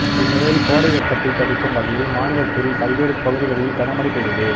இந்நிலையில் கோடை வெப்பத்தை தணிக்கும் வகையில் மாநிலத்தின் பல்வேறு பகுதிகளில் கன மழை பெய்தது